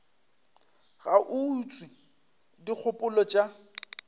ga a utswe dikgopolo tša